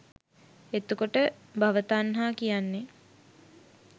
එතකොට භව තණ්හා කියන්නේ